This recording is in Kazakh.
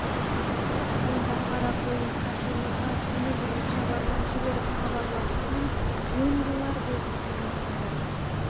онда қарақойын қашырлыға күні бұрын шабарман жіберіп хабарласқан жөн болар деді кенесары